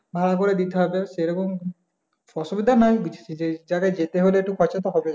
ভাগ করে দিতে হবে সেরকম অসুবিধা নাই কিছু যেতে হলে খরচা তো হবেই।